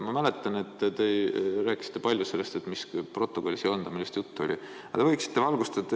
Ma mäletan, et te rääkisite palju sellest, et mis protokoll see on, millest juttu oli.